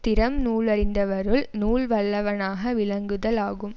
திறம் நூலறிந்தவருள் நூல் வல்லவனாக விளங்குதல் ஆகும்